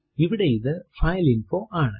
ഇവിടെ ഇത് ഫൈലിൻഫോ ആണ്